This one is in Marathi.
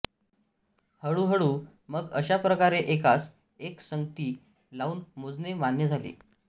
हळू हळू मग अशा प्रकारे एकास एक संगती लावून मोजणे मान्य झाले